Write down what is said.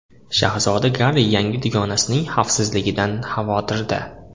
Shahzoda Garri yangi dugonasining xavfsizligidan xavotirda.